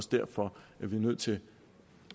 derfor vi er nødt til